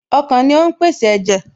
Ọkàn ni ó ń pèsè ẹ̀jẹ̀